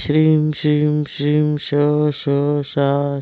श्रीं श्रीं श्रीं श श शा